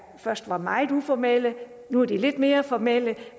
først var meget uformelle nu er de lidt mere formelle